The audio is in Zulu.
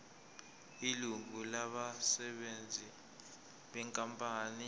ilungu labasebenzi benkampani